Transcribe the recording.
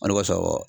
Ali b'a sɔrɔ